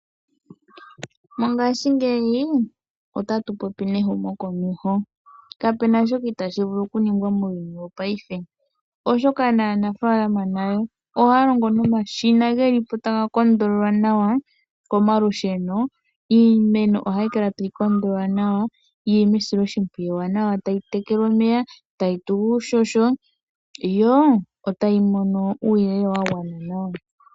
Mongashingeyi otatu popi nehumo komeho kapuna shoka tashi itashi vulu okuningwa methimbo lyopaife oshoka aanafalama ohaya longo nomashina ngoka taga longo komalusheno ,iimeno ohai kala tai tekelwa tayi mono uuhoho oshowa uuyelele wagwana nawa.